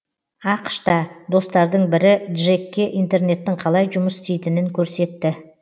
ақш та достардың бірі джекке интернеттің қалай жұмыс істейтінін көрсетті